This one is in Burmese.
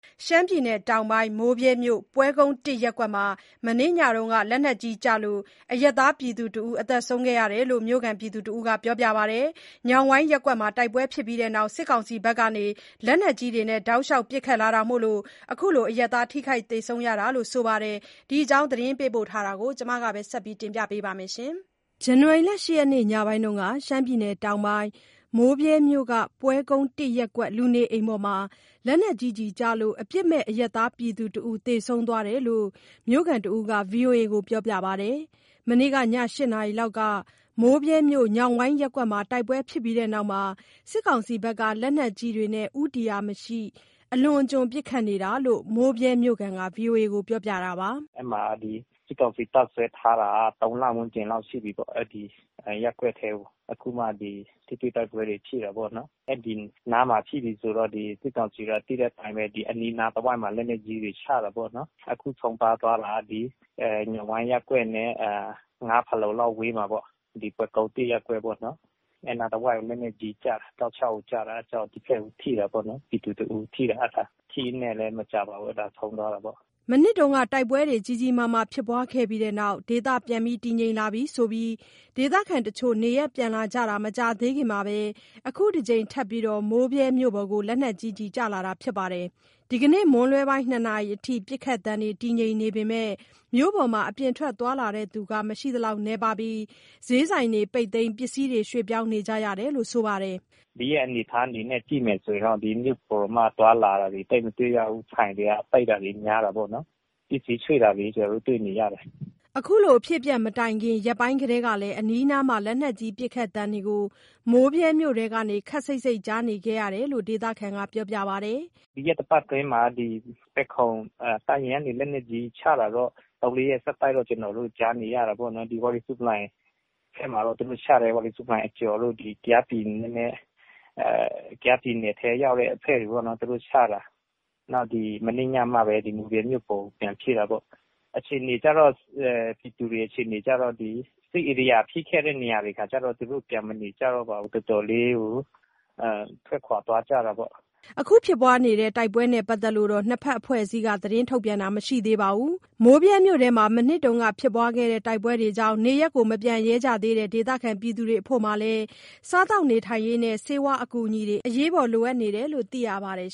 ရှမ်းပြည်တောင်ပိုင်း၊ မိုးဗြဲမြို့၊ ပွဲကုန်း ရပ်ကွက်မှာ မနေ့ညက လက်နက်ကြီးကျလို့ အရပ်သားတစ်ဦး သေဆုံးသွားတယ်လို့ မြို့ခံတစ်ဦးက ပြောပါတယ်။ ညောင်ဝိုင်ရပ်ကွက်မှာ တိုက်ပွဲဖြစ်ပြီးနောက် စစ်ကောင်စီဖက်က လက်နက်ကြီးတွေနဲ့ တောက်လျှောက်ပစ်ခတ်လာတာမို့ အရပ်သားထိခိုက်သေဆုံးရတာလို့ ဆိုပါတယ်။ ဒီအကြောင်း သတင်းပေးပို့ချက် မဆုမွန်က ပြောပြမှာပါ။ ဇန်နဝါရီလ ၈ရက်နေ့ ညပိုင်းက မိုးဗြဲမြို့ ပွဲကုန်း ရပ်ကွက် လူနေအိမ်ပေါ်မှာ လက်နက်ကြီးကျလို့ အပြစ်မဲ့ အရပ်သားပြည်သူတစ်ဦး သေဆုံးသွားတယ်လို့ မြို့ခံတစ်ဦးက ဗွီအိုအေကို ပြောပါတယ်။ မနေ့က ည ၈နာရီလောက် မိုးဗြဲမြို့ ညောင်ဝိုင်ရပ်ကွက်မှာ တိုက်ပွဲဖြစ်ပြီးနောက် စစ်ကောင်စီဖက်က လက်နက်ကြီးတွေနဲ့ ဦးတည်ရာမရှိ အလွန်အကျွံပစ်ခတ်နေတာလို့ မိုးဗြဲမြို့ခံက ဗွီအိုအေကို ပြောပြတာပါ။ “အဲ့မှာ စစ်ကောင်စီတပ်စွဲထားတာက ၃ လ ဝန်းကျင်လောက်ရှိပြီးပေါ့ အဲ့ဒီရပ်ကွက်ထဲကို၊ အခုမှ ဒီထိတွေ့တိုက်ပွဲတွေ ဖြစ်တာပေါ့နော်၊ အဲ့ဒီနားမှာ ဖြစ်ပြီးဆိုတော့ ဒီစစ်ကောင်စီက သိတဲ့အတိုင်းပဲ အနီးအနားတဝိုက်မှာ လက်နက်ကြီးတွေချတာပေါ့နော် အခု ဆုံးပါးသွားတာ ညောင်ဝိုင်ရပ်ကွက်နဲ့ ၅ ဖာလုံလောက်ဝေးမှာပေါ့ ဒီပွဲကုန်း ရပ်ကွက်ပေါ့နော် အဲ့အနားတဝိုက်ကို လက်နက်ကြီးကျတာ တောက်လျှောက်ကိုကျတာ အဲ့ကြောင့် ဒီဖက်ကိုထိတာပေါ့နော် ပြည်သူတစ်ဦးထိတာ အဲ့ဒါ ထိရင်းနဲ့လည်း မကြာပါဘူး အဲ့ဒါ ဆုံးသွားတာပေါ့။” မနှစ်ကတိုက်ပွဲတွေကြီးကြီးမားမားဖြစ်ပြီးနောက် ဒေသတည်ငြိမ်လာပြဆိုပြီး ဒေသခံတချို့နေရပ်ပြန်လာကြတာ မကြာသေးခင်ပဲ၊ ခုတကြိမ်ထပ်ပြီး မိုးဗြဲမြို့ပေါ် လက်နက်ကြီးကျလာတာပါ။ ဒီနေ့ကတော့ မွန်လွဲပိုင်း ၂ နာရီအထိ ပစ်ခတ်သံတွေ တည်ငြိမ်နေပေမယ့် မြို့ပေါ်မှာ အပြင်ထွက်သွားလာတဲ့လူတွေ မရှိသလောက် နည်းပါးပြီး ဈေးဆိုင်တွေလည်း ပိတ်သိမ်း ပစ္စည်းရွှေ့နေကြတယ်လို့ ဆိုပါတယ်။ “ဒီရက်အနေအထားအနေနဲ့ ကြည့်မယ်ဆိုရင်တော့ ဒီမြို့ပေါ်တောင်မှ သွားလာတာတွေ သိပ်မတွေ့ရဘူး၊ ဆိုင်တွေက ပိတ်တာတွေ များတာပေါ့နော် ပစ္စည်းရွှေ့တာတွေ ကျနော်တို့ တွေ့နေရတယ်။” အခုလိုအဖြစ်အပျက်မတိုင်ခင်ရက်ပိုင်းကတည်းက အနီးအနား လက်နက်ကြီးပစ်ခတ်သံတွေကို မိုးဗြဲမြို့တွင်းကနေ ခပ်စိတ်စိတ်ကြားနေခဲ့တာလို့လည်း ဒေသခံက ပြောပါတယ်။ “ဒီရက်သတ္တပတ်အတွင်းမှာ ဒီဖယ်ခုံတပ်ရင်းကနေ လက်နက်ကြီးချတာတော့ ၃၊၄ရက် ဆက်တိုက်တော့ ကျနော်တို့ ကြားနေရတာပေါ့နော် ဒီဝါရီဆူးပလိုင်ဖက်မှာတော့ သူတို့ချတယ် ဝါရီဆူးပလိုင်အကျော်တို့ ဒီကယားပြည်နယ်ထဲရောက်တဲ့အဖက်တွေပေါ့နော် သူတို့ချတာ နောက် ဒီမနေ့ညမှပဲ ဒီမိုးဗြဲမြို့ပေါ်ကို ပြန်ဖြစ်တာပေါ့။ အခြေအနေကျတော့ ပြည်သူတွေ အခြေအနေကျတော့ စစ်ဧရိယာဖြစ်ခဲ့တဲ့နေရာတွေခါကျတော့ တော်တော်လေးကို ထွက်ခွာသွားကြတာပေါ့။” အခုဖြစ်တဲ့ တိုက်ပွဲနဲ့ပတ်သက်လို့ နှစ်ဖက်အဖွဲ့က ထုတ်ပြန်တာမျိုး မရှိသေးပါဘူး။ မိုးဗြဲမြို့နယ်တွင်း မနှစ်ကဖြစ်ခဲ့တဲ့ တိုက်ပွဲတွေကြောင့် နေရပ်မပြန်ရဲသေးတဲ့ ဒေသခံတွေအဖို့မှာလည်း၊ စားရေးသောက်ရေးနဲ့ ဆေးဝါး အကူအညီတွေလည်း လိုအပ်နေတယ်လို့ သိရပါတယ်